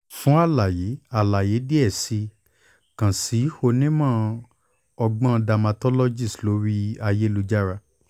fun alaye alaye diẹ sii kan si onimọ-ọgbọn dermatologist lori ayelujara.